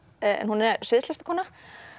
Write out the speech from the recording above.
hún